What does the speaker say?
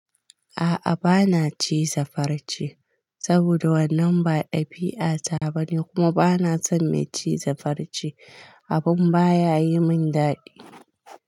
A'a bana ci za farce saboda wannan ba ɗabi, a ta bane kuma bana son mai ci za farce, abun baya yi min daɗi.